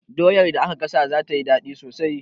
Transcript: Doyar da aka gasa za tayi daɗi sosai